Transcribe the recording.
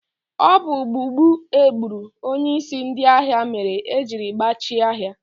Ọ bụ gbugbu egburu onyeisi ndị ahịa mere ejiri gbachie ahịa.